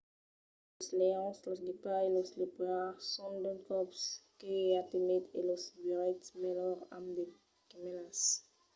los leons los guepards e los leopards son d'unes còps que i a timids e los veiretz melhor amb de gemèlas